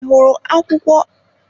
Ị hụrụ akwụkwọ akụkọ ifo ahụ ụnyaahụ?